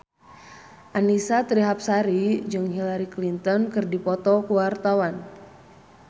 Annisa Trihapsari jeung Hillary Clinton keur dipoto ku wartawan